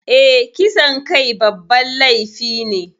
Eh, kisan kai babban laifi ne